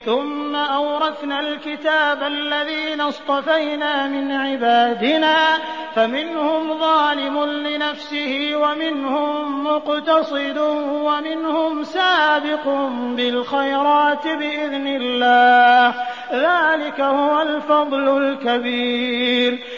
ثُمَّ أَوْرَثْنَا الْكِتَابَ الَّذِينَ اصْطَفَيْنَا مِنْ عِبَادِنَا ۖ فَمِنْهُمْ ظَالِمٌ لِّنَفْسِهِ وَمِنْهُم مُّقْتَصِدٌ وَمِنْهُمْ سَابِقٌ بِالْخَيْرَاتِ بِإِذْنِ اللَّهِ ۚ ذَٰلِكَ هُوَ الْفَضْلُ الْكَبِيرُ